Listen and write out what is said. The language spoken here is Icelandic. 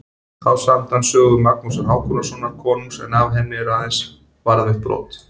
Þá samdi hann sögu Magnúsar Hákonarsonar konungs en af henni eru aðeins varðveitt brot.